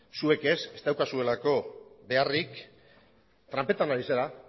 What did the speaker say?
zuek ez ez daukazuelako beharrik tranpetan ari zara